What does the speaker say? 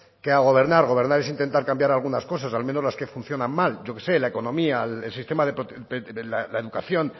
que a gobernar gobernar es intentar cambiar algunas cosas al menos las que funcionan mal yo que sé la economía la educación